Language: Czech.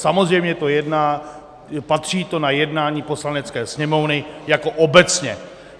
Samozřejmě to patří na jednání Poslanecké sněmovny jako obecně.